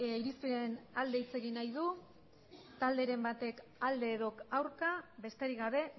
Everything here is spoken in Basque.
irizpenaren alde hitz egin nahi du talderen batek alde edo aurka besterik gabe